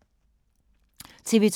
TV 2